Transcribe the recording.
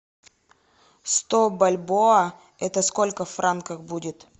сто бальбоа это сколько франков будет